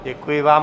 Děkuji vám.